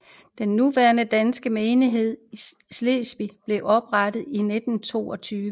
Den nuværende danske menighed i Slesvig blev oprettet i 1922